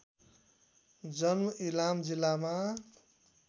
जन्म इलाम जिल्लामा